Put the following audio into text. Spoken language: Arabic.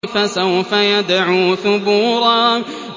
فَسَوْفَ يَدْعُو ثُبُورًا